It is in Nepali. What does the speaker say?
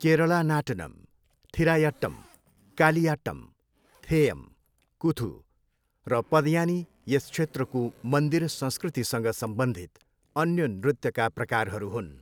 केरला नाटनम, थिरायट्टम, कालियाट्टम, थेयम, कुथु र पदयानी यस क्षेत्रको मन्दिर संस्कृतिसँग सम्बन्धित अन्य नृत्यका प्रकारहरू हुन्।